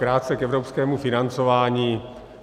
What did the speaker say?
Krátce k evropskému financování.